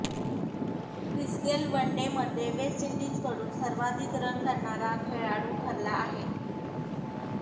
Chris Gayle वनडेमध्ये West इंडिजकडून सर्वाधिक रन करणारा खेळाडू ठरला आहे